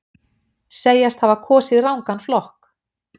Segjast hafa kosið rangan flokk